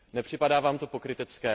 Nepřipadá vám to pokrytecké?